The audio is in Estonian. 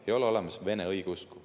Ei ole olemas Vene õigeusku.